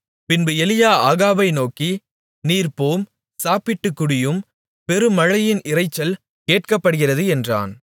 பின்பு எலியா ஆகாபை நோக்கி நீர் போம் சாப்பிட்டு குடியும் பெருமழையின் இரைச்சல் கேட்கப்படுகிறது என்றான்